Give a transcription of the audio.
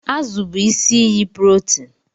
Azụ bụ isi iyi protein